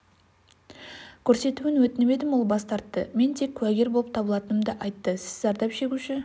көрсетуін өтініп едім ол бас тартты мен тек куәгер болып табылатынымды айтты сіз зардап шегуші